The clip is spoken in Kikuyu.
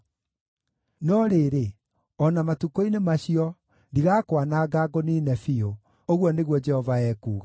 “No rĩrĩ, o na matukũ-inĩ macio, ndigakwananga ngũniine biũ,” ũguo nĩguo Jehova ekuuga.